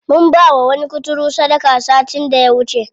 Mun bawa wani kuturu sadaka satin da ya wuce.